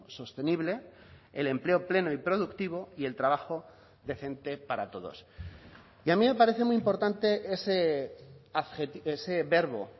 sostenible el empleo pleno y productivo y el trabajo decente para todos y a mí me parece muy importante ese verbo